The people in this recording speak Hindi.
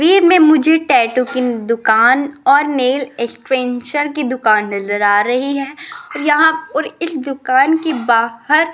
वीर में मुझे टैटू की दुकान और नेल एक्सटेंशन की दुकान नजर आ रही है और यहां इस दुकान के बाहर --